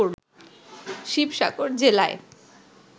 শিবসাগর জেলায়